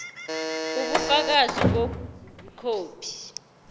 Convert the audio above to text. ubufakazi bokuthi ikhophi